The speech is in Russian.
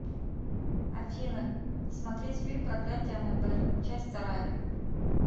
афина смотреть фильм проклятие аннабель часть вторая